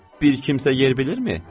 Bir kimsə yer bilirmi?